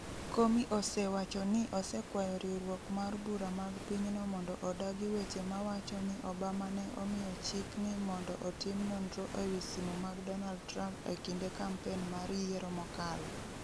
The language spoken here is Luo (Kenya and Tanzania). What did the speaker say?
Comey osewacho ni osekwayo riwruok mar bura mag pinyno mondo odagi weche mawacho ni Obama ne omiyo chik ni mondo otim nonro ewi simu mag Donald Trump e kinde kampen mar yiero mokalo.